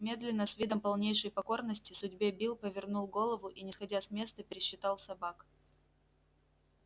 медленно с видом полнейшей покорности судьбе билл повернул голову и не сходя с места пересчитал собак